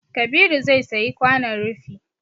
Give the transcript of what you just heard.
Kabiru zai sayi kwanon rufi